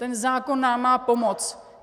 Ten zákon nám má pomoci.